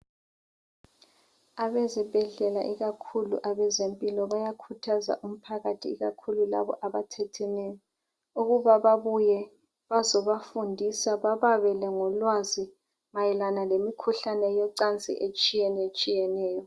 Abezibhedlela ikakhulu abezempilo bayakhuthaza umphakathi ikakhulu labo abathetheneyo ukuba babuye bazobafundisa bababele ngolwazi mayelana lemikhuhlane yocansi etshiyenetshiyeneyo.